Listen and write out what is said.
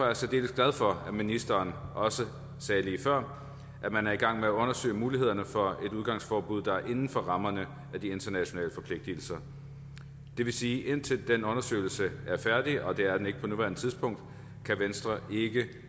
jeg særdeles glad for at ministeren også sagde lige før at man er i gang med at undersøge mulighederne for et udgangsforbud der er inden for rammerne af de internationale forpligtelser det vil sige at indtil den undersøgelse er færdig og det er den ikke på nuværende tidspunkt kan venstre ikke